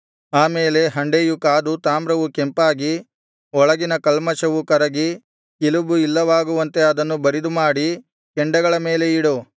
ಆ ಮೇಲೆ ಹಂಡೆಯು ಕಾದು ತಾಮ್ರವು ಕೆಂಪಾಗಿ ಒಳಗಿನ ಕಲ್ಮಷವು ಕರಗಿ ಕಿಲುಬು ಇಲ್ಲವಾಗುವಂತೆ ಅದನ್ನು ಬರಿದುಮಾಡಿ ಕೆಂಡಗಳ ಮೇಲೆ ಇಡು